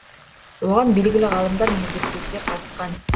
оған белгілі ғалымдар мен зерттеушілер қатысқан